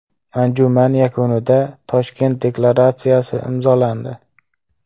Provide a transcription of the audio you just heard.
Anjuman yakunida Toshkent deklaratsiyasi imzolandi.